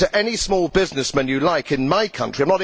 Speak to any small businessman you like in my country.